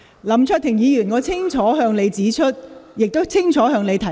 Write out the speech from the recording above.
林卓廷議員，我已清楚向你指出，亦清楚向你提問。